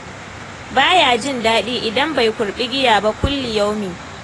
Baya jin daɗi idan bai kurɓi giya ba kulli yaumi.